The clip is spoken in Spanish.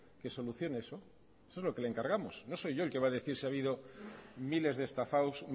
que solucione eso eso es lo que le encargamos no soy yo el que va a decir si ha habido miles de estafados